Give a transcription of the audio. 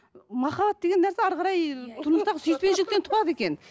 махаббат деген нәрсе әрі қарай тұрмыстағы сүйіспеншіліктен туады екен